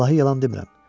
Vallahi yalan demirəm.